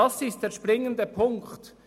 Das ist der springende Punkt.